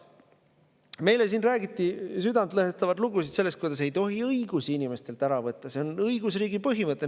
Meile siin räägiti südantlõhestavaid lugusid sellest, miks ei tohi inimestelt õigusi ära võtta, see on õigusriigi põhimõte.